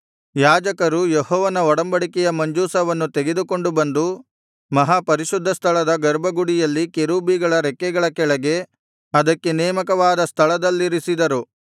ಯಾಜಕರು ಯೆಹೋವನ ಒಡಂಬಡಿಕೆಯ ಮಂಜೂಷವನ್ನು ತೆಗೆದುಕೊಂಡು ಬಂದು ಮಹಾಪರಿಶುದ್ಧ ಸ್ಥಳದ ಗರ್ಭಗುಡಿಯಲ್ಲಿ ಕೆರೂಬಿಗಳ ರೆಕ್ಕೆಗಳ ಕೆಳಗೆ ಅದಕ್ಕೆ ನೇಮಕವಾದ ಸ್ಥಳದಲ್ಲಿರಿಸಿದರು